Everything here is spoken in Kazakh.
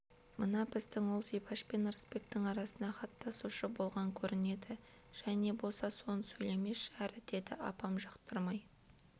мына біздің ұл зибаш пен ырысбектің арасына хат тасушы болған көрінеді жә не боса соны сөйлемеші әрі деді апам жақтырмай